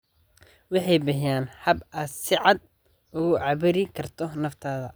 Waxay bixiyaan hab aad si cad ugu cabiri karto naftaada.